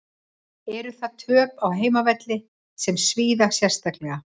Eru þar töp á heimavelli sem svíða sérstaklega.